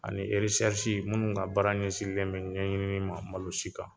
Ani eresɛrisi minnu ka baara ɲɛsinlen bɛ ɲɛɲinin ma malosi kan